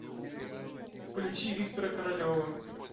включи виктора королева